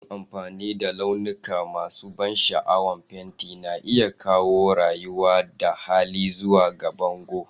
Yin amfani da launuka masu ban sha'awa, fenti na iya kawo rayuwa da hali zuwa ga bango